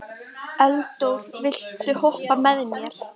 Eldór, viltu hoppa með mér?